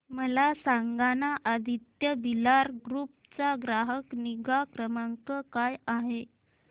मला सांगाना आदित्य बिर्ला ग्रुप चा ग्राहक निगा क्रमांक काय आहे